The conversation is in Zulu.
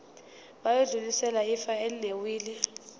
bayodlulisela ifa elinewili